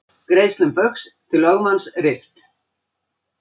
Greiðslum Baugs til lögmanns rift